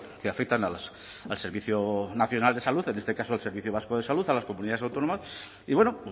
que afectan al servicio nacional de salud en este caso el servicio vasco de salud a las comunidades autónomas y bueno